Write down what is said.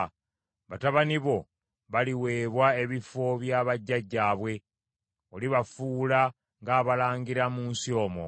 Batabani bo baliweebwa ebifo bya bajjajjaabwe, olibafuula ng’abalangira mu nsi omwo.